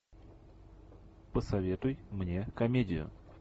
посоветуй мне комедию